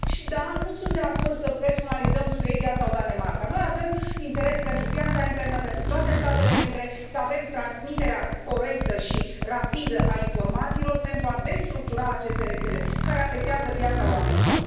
Și da, nu sunt de acord să personalizăm cazul Suediei sau al Danemarcei, noi avem interes pentru piața internă, pentru toate statele membre, să avem transmiterea corectă și rapidă a informațiilor, pentru a destructura aceste rețele care afectează viața oamenilor.